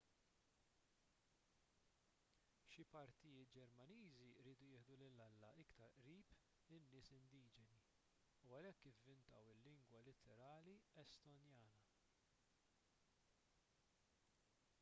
xi patrijiet ġermaniżi riedu jieħdu lil alla iktar qrib in-nies indiġeni u għalhekk ivvintaw il-lingwa litterali estonjana